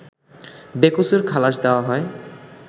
বেকসুর খালাশ দেওয়া হয়